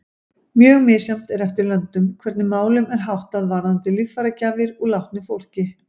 Mjög misjafnt er eftir löndum hvernig málum er háttað varðandi líffæragjafir úr látnu fólki.